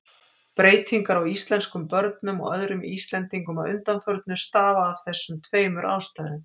Breytingar á íslenskum börnum og öðrum Íslendingum að undanförnu stafa af þessum tveimur ástæðum.